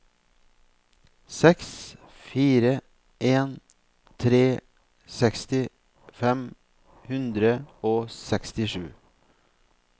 seks fire en tre seksti fem hundre og sekstisju